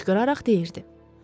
Hıçqıraraq deyirdi.